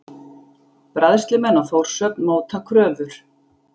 Bræðslumenn á Þórshöfn móta kröfur